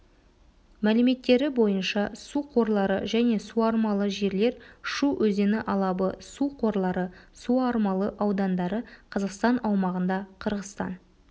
мәліметтері бойынша су қорлары мен суармалы жерлер шу өзені алабы су қорлары суармалы аудандары қазақстан аумағында қырғызстан